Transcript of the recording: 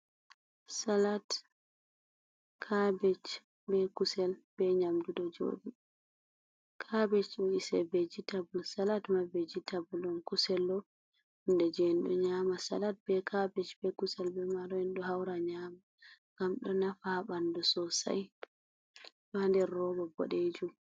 Salat, kabej be kusel be nyamdu ɗo joɗi. Kabej vejitabl on, salat ma vijitabl on. Kusel ɗo ni ko en nyamata on. Salat be kabej be kusel be marori ɗo haura nyama gam do nafa ha bandu sosai. Ɗo ha nder robo bodejum..